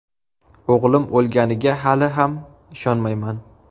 O‘g‘lim o‘lganiga hali ham ishonmayman.